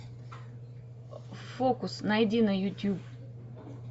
фокус найди на ютуб